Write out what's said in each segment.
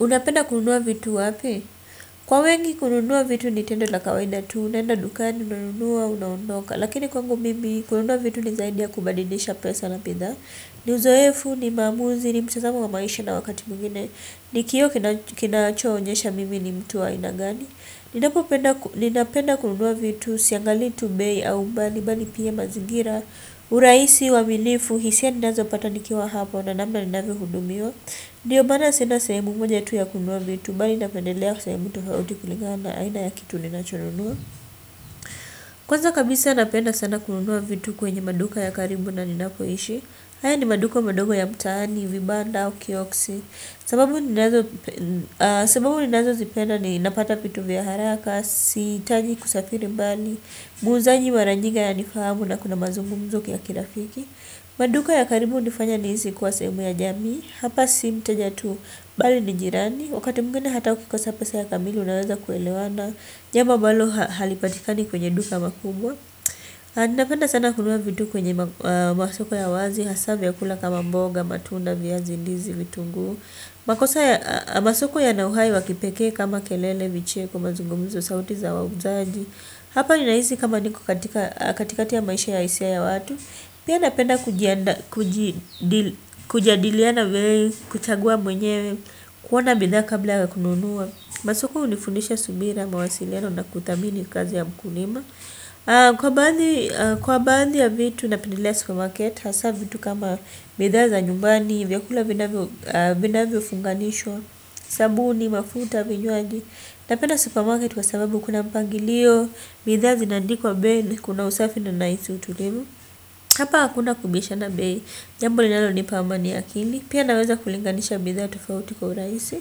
Unapenda kununua vitu wapi? Kwa wengi kununua vitu ni tendo la kawaida tu, unaenda dukani, unanunua unaondoka. Lakini kwangu mimi kununua vitu ni zaidi ya kubadilisha pesa na bidhaa. Ni uzoefu ni maamuzi ni mtazamo wa maisha na wakati mwingine. Ni kioo kinachoonyesha mimi ni mtu wa aina gani. Ninapenda kununua vitu siangalii tu bei au umbali, bali pia mazigira. Urahisi, uamilifu, hisia ninazopata nikiwa hapo, na namna ninavyohudumiwa. Ndiyo maana sina sehemu moja tu ya kunuwa vitu bali napendelea sehemu tofauti kulingana na aina ya kitu ninachonunua. Kwaza kabisa napenda sana kunuwa vitu kwenye maduka ya karibu na ninapoishi. Haya ni maduka madogo ya mtaani, vibanda au kioksi. Sababu ninazo zipenda ni napata pitu vya haraka. Siitaji kusafiri mbali. Muuzaji maranyingi ana nifahamu na kuna mazungumzo ya kilafiki. Maduka ya karibu hunifanya niisi kuwa seemu ya jamii hapa si mteja tu bali ni jirani wakati mwingene hata ukikosa pesa kamili unaweza kuelewana jambo ambalo halipatikani kwenye duka makubwa anapenda sana kunua vitu kwenye masoko ya wazi hasaa vyakula kama mboga matunda viazi ndizi vitunguu makosa ya masoko yana uhai wa kipekee kama kelele vicheko mazungumzo sauti za wauzaji hapa ninaisi kama niko katika katikati ya maisha ya isia ya watu pia napenda kujadiliana kuchagua mwenyewe kuona bidhaa kabla ya kununua masoko unifunisha subira mawasiliano na kuthamini kazi ya mkulima kwa baadhi kwa baadhi ya vitu napendelea supermarket hasaa vitu kama bidhaa za nyumbani vya kula vinavyo funganishwa sabuni mafuta vinywaji napenda supermarket kwa sababu kuna mpangilio bidhaa zinandikwa bei kuna usafi na naisi utulivu hapa hakuna kubishana bei jambo linalo nipa amani ya akili. Pia naweza kulinganisha bidhaa tofauti kwa uraisi.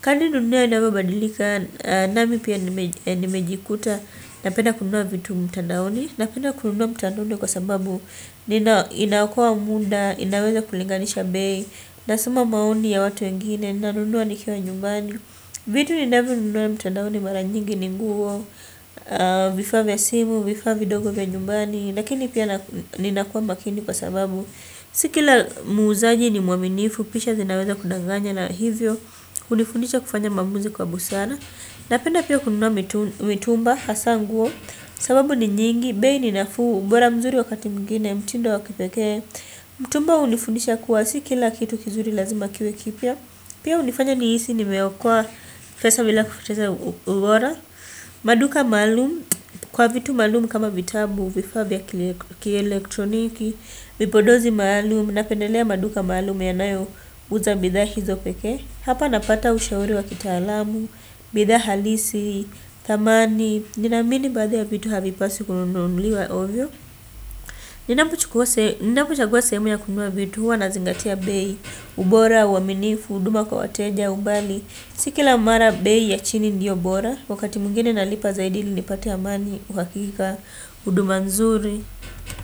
Kadri dunia inavyo badilika. Nami pia nimejikuta. Napenda kununua vitu mtandaoni. Napenda kununua mtandaoni kwa sababu inaokoa muda. Ninaweza kulinganisha bei. Nasuma mauni ya watu wengine. Nanunua nikiwa nyumbani. Vitu ninavu nunua mtandaoni maranjingi ninguo. Vifavi asimu. Vifavi dogo vya nyumbani. Nakini pia ninakua makini kwa sababu sikila muzaji ni muaminifu. Pisha zinaweza kudanganya na hivyo. Unifundisha kufanya mamuzi kwa busara. Napenda pia kununua mitumba hasaa nguo. Sababu ni nyingi. Behi ni nafuu ubora mzuri wakati mwingine. Mtindo wa kipekee. Mtumba unifundisha kuwa sikila kitu kizuri lazima kiwe kipya. Pia unifanya niisi ni meokoa pesa bila kupoteza ubora. Maduka maalum. Kwa vitu maalumu kama vitabu vifaa vya kielektroniki vipodozi maalumu. Napendelea maduka maalumu yanayo uza bidhaa hizo pekee. Hapa napata ushauri wa kitaalamu bidhaa halisi, thamani ninaamini baadhi ya vitu havipaswi kununuliwa ovyoovyo. Ninapo chagua seemu ya kunua vitu. Huwa nazingatia bei. Ubora, uaminifu, huduma kwa wateja, umbali. Si kila mara bei ya chini ndiyo bora. Wakati mwingine nalipa zaidi ilinipate amani, uhakika. Uduma nzuri. Kwa hivyo.